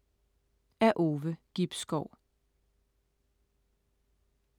Af Ove Gibskov